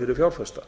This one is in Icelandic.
fyrir fjárfesta